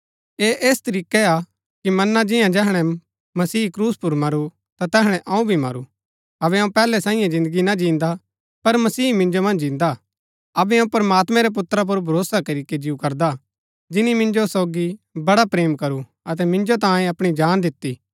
ऐह ऐस तरीकै हा कि मना जिन्या जैहणै मसीह क्रूस पुर मरू ता तैहणै अऊँ भी मरू अबै अऊँ पैहलै सांईये जिन्दगी ना जिन्दा पर मसीह मिन्जो मन्ज जिन्दा हा अबै अऊँ प्रमात्मैं रै पुत्रा पुर भरोसा करीके जिऊ करदा जिनी मिन्जो सोगी बड़ा प्रेम करू अतै मिन्जो तांये अपणी जान दिती